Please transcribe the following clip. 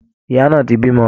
Ìyá náà ti bímọ